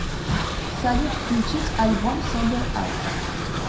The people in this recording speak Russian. салют включить альбом собер ап